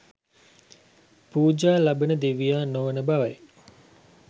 පූජා ලබන දෙවියා නොවන බවයි